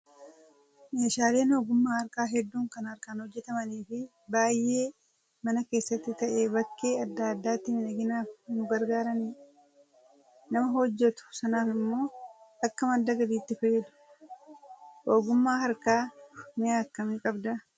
Meeshaaleen ogummaa harkaa hedduun kan harkaan hojjatamanii fi baay'ee mana keessattis ta'ee bakkee adda addaatti miidhaginaaf nu gargaaranidha. Nam ahojjatu sanaaf immoo akka madda galiitti fayyadu. Ogummaa harkaa mi'a kamii qabdaa?